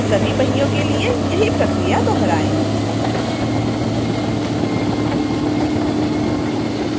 सभी पहियों के लिए यही प्रक्रिया दोहराएं